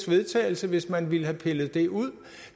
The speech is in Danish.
vedtagelse hvis man havde villet pille det ud